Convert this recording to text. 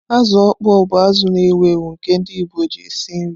Azu okpoo bụ azụ na-ewu ewu nke ndị Igbo na eji esi nri.